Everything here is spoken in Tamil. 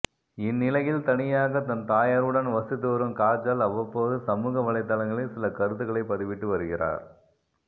இந்நிலையில் தனியாக தன் தாயாருடன் வசித்து வரும் காஜல் அவ்வப்போது சமூக வலைதளங்களில் சில கருத்துக்களை பதிவிட்டு வருகிறார்